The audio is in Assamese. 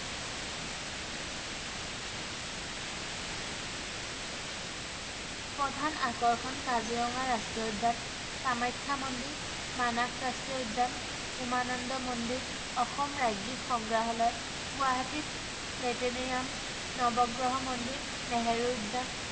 প্ৰধান আকৰ্ষণ